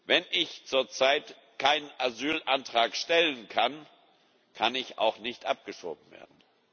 Wenn ich zurzeit keinen Asylantrag stellen kann, kann ich auch nicht abgeschoben werden.